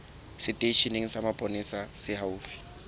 seteisheneng sa mapolesa se haufi